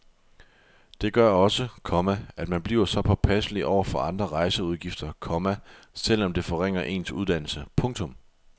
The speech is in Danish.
Det gør også, komma at man bliver påpasselig over for andre rejseudgifter, komma selv om det forringer ens uddannelse. punktum